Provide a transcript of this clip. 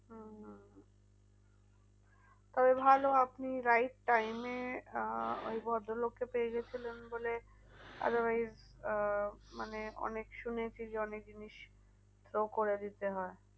তবে ভালো আপনি right time এ আহ ওই ভদ্র লোককে পেয়ে গিয়েছিলেন বলে otherwise আহ মানে অনেক শুনেছি যে অনেক জিনিস throw করে দিতে হয়।